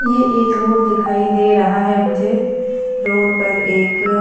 ये एक रोड दिखाई दे रहा है मुझे रोड पर एक --